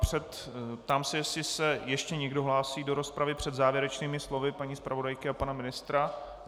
Ptám se, jestli se ještě někdo hlásí do rozpravy před závěrečnými slovy paní zpravodajky a pana ministra.